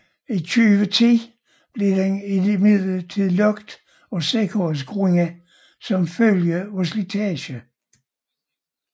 I 2010 blev den imidlertid lukket af sikkerhedsgrunde som følge af slitage